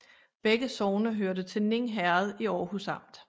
Begge sogne hørte til Ning Herred i Aarhus Amt